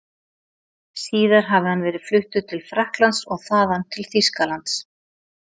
Síðar hafi hann verið fluttur til Frakklands og þaðan til Þýskalands.